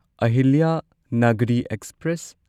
Ahilyanagari express